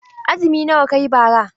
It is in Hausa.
Azumi nawa kayi bara?